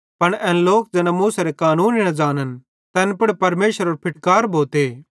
पन एन लोक ज़ैना मूसेरे कानूने न ज़ानन् तैन पुड़ परमेशरेरो फिटकार भोते